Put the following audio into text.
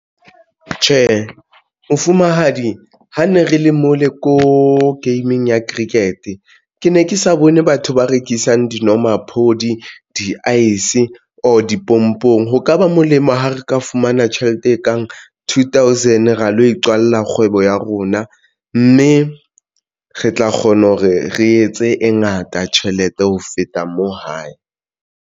Tjhe, mofumahadi ha ne re le mole ko gaming ya cricket ke ne ke sa bone batho ba rekisang dinomaphodi di-ice or dipompong. Ho ka ka ba molemo ha re ka fumana tjhelete e kang two thousand, ra lo iqalla kgwebo ya rona, mme re tla kgona hore re etse e ngata tjhelete ho feta moo, hae.